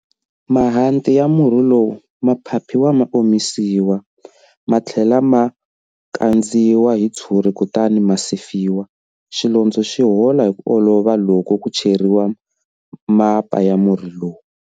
Mahanti ya murhi lowu ma phaphiwa ma omisiwa, ma tlhela ma kandziwa hi tshuri kutani ma sefiwa. Xilondzo xi hola hi ku olova loko ku cheriwa mapa ya murhi lowu.